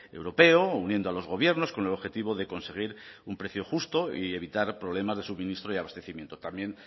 europeo uniendo a los gobiernos con el objetivo de conseguir un precio justo y evitar problemas de suministro y abastecimiento también